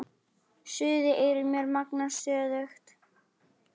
Suðið í eyrum mér magnast stöðugt.